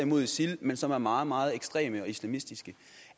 mod isil men som er meget meget ekstreme og islamistiske